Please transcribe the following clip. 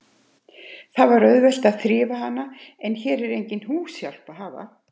Það var auðvelt að þrífa hana, en hér er enga húshjálp að hafa.